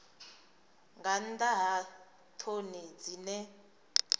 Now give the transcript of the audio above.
nga nnḓa ha ṱhoni dzine